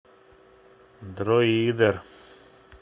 дроидер